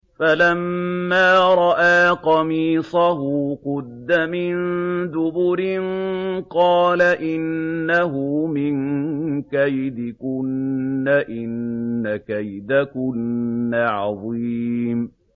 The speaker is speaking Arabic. فَلَمَّا رَأَىٰ قَمِيصَهُ قُدَّ مِن دُبُرٍ قَالَ إِنَّهُ مِن كَيْدِكُنَّ ۖ إِنَّ كَيْدَكُنَّ عَظِيمٌ